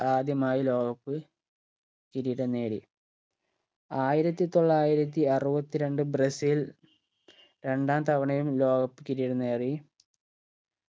ആദ്യമായ് ലോക cup കിരീടം നേടി ആയിരത്തി തൊള്ളായിരത്തി അറുവത്തിരണ്ട് ബ്രസീൽ രണ്ടാം തവണയും ലോക cup കിരീടം നേടി